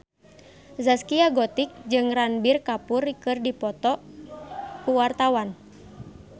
Zaskia Gotik jeung Ranbir Kapoor keur dipoto ku wartawan